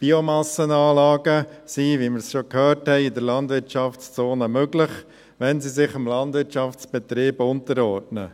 Biomassenanlagen sind – wie wir es schon gehört haben – in der Landwirtschaftszone möglich, wenn sie sich dem Landwirtschaftsbetrieb unterordnen.